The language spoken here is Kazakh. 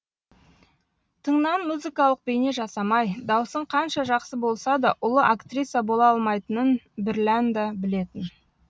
тыңнан музыкалық бейне жасамай даусың қанша жақсы болса да ұлы актриса бола алмайтынын бірлән де білетін